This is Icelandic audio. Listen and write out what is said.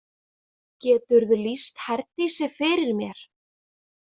Geturðu lýst Herdísi fyrir mér?